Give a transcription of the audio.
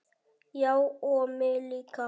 Já og mig líka.